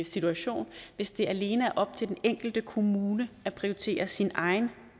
situation hvis det alene er op til den enkelte kommune at prioritere sin egen